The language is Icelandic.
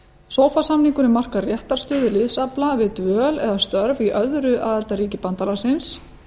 sofa samningurinn markar réttarstöðu liðsafla við dvöl eða störf í öðru aðildarríki bandalagsins